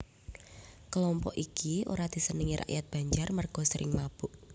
Kelompok iki ora disenengi rakyat Banjar merga sering mabok